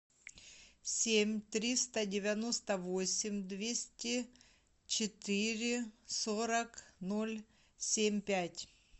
семь триста девяносто восемь двести четыре сорок ноль семь пять